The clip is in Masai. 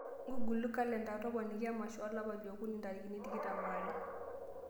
ngugulo kalenda toponiki emasho olapa li okuni ntarikini tikitam aare